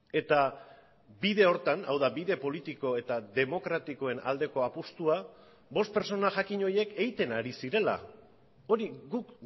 eta bide horretan hau da bide politiko eta demokratikoen aldeko apustua bost pertsona jakin horiek egiten ari zirela hori guk